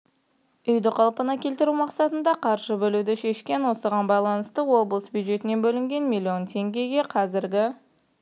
үйді қалпына келтіру мақсатында қаржы бөлуді шешкен осыған байланысты облыс бюджетінен бөлінген миллион теңгеге қазіргі